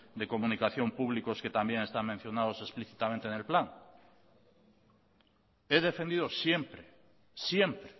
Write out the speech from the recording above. de comunicación públicos que también están mencionados explícitamente en el plan he defendido siempre siempre